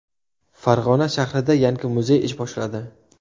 Farg‘ona shahrida yangi muzey ish boshladi .